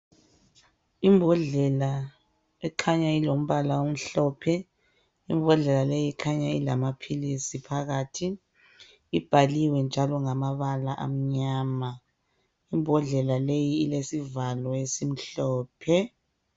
Imbodlela ekhanya ilombala omhlophe, imbodlela le ikhanya ilamaphilisi phakathi ibhalwe njalo ngamabala amnyama, imbodlela le ilesivalo esimhlophe.